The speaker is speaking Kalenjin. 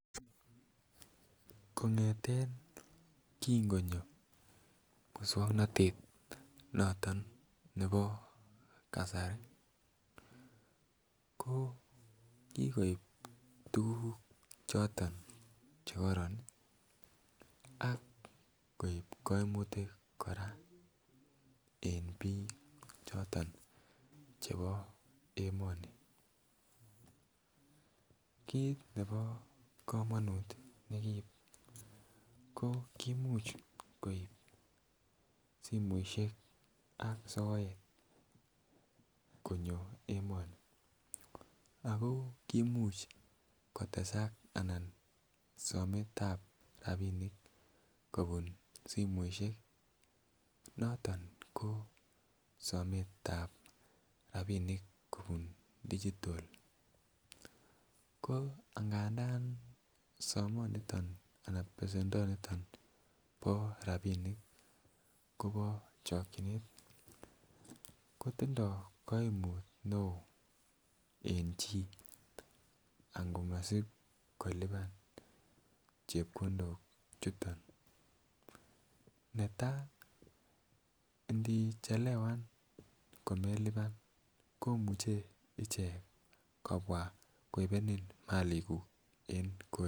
Kongeten kin konyo moswoknatet noton nebo kasari ko kikoib tuguk choton Che kororon ak koib kaimutik kora en bik choton Che bo emoni kit nebo komonut ne kiib ko kimuch koib simoisiek ak soet konyo emoni ako kimuch kotesak sometab rapisiek kobun simoisiek noton ko sometab rabinik kobun digital ko anganda somonito Anan besendo nebo chokyinet kotindoi kaimut neo en chii angomasib kolipan chepkondok chuton netai ini Chelewanen komuche kobwa ichek koibenen malikuk